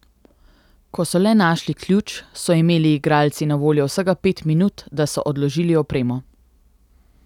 Ko so le našli ključ, so imeli igralci na voljo vsega pet minut, da so odložili opremo.